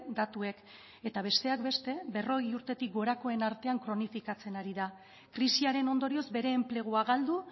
datuek eta besteak beste berrogei urtetik gorakoen artean kronofikatzen ari da krisiaren ondorioz bere enplegua galdu